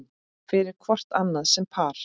fyrir hvort annað sem par